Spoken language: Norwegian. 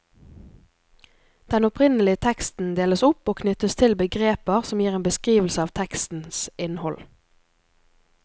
Den opprinnelige teksten deles opp og knyttes til begreper som gir en beskrivelse av tekstens innhold.